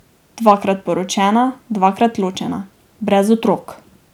Dvakrat poročena, dvakrat ločena, brez otrok.